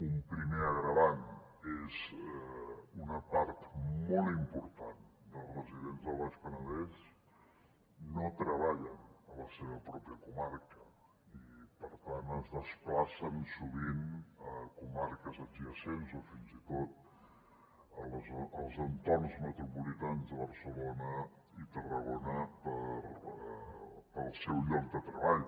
un primer agreujant és una part molt important dels residents del baix penedès no treballen a la seva pròpia comarca i per tant es desplacen sovint a comarques adjacents o fins i tot als entorns metropolitans de barcelona i tarragona pel seu lloc de treball